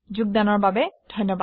যোগদানৰ বাবে ধন্যবাদ